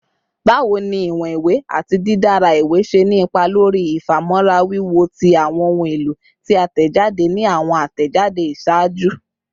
Bawo ni iwọn iwe ati didara iwe ṣe ni ipa lori ifamọra wiwo ti awọn ohun elo ti a tẹjade ni awọn atẹjade iṣaaju?